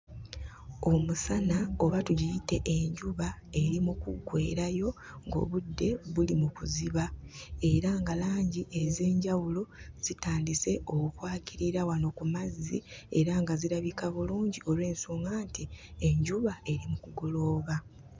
Omusana oba tugiyite enjuba eri mu kuggweerayo ng'obudde buli mu kuziba era nga langi ez'enjawulo zitandise okwakirira wano ku mazzi era nga zirabika bulungi olw'ensonga nti enjuba eri mu kugolooba.